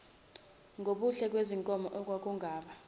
ngubuhle bezinkomo okwakungaba